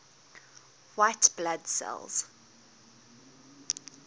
white blood cells